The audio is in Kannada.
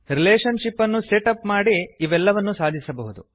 ರಿಲೇಷನ್ ಶಿಪ್ ಅನ್ನು ಸೆಟ್ ಅಪ್ ಮಾಡಿ ಇವೆಲ್ಲವನ್ನೂ ಸಾಧಿಸಬಹುದು